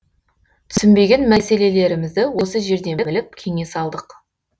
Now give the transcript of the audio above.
түсінбеген мәселелерімізді осы жерден біліп кеңес алдық